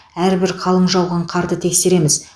әрбір қалың жауған қарды тексереміз